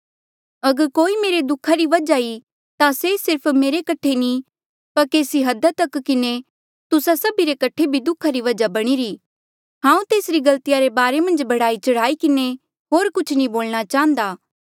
अगर कोई मेरे दुखा री वजहा ई ता से सिर्फ मेरे कठे नी पर केसी हदा तक किन्हें तुस्सा सभी रे कठे भी दुखा री वजहा बणीरी हांऊँ तेसरी गलतिया रे बारे मन्झ बढ़ाईचढ़ाई किन्हें होर कुछ नी बोलणा चांहदा